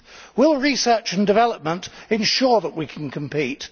Will research and development ensure that we can compete?